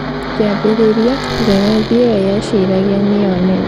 Kiambĩrĩria, Njagathi iyo yeciragia nĩyo nene